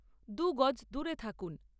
দুগজ দূরে থাকুন।